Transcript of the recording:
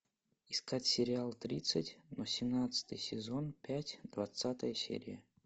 искать сериал тридцать восемнадцатый сезон пять двадцатая серия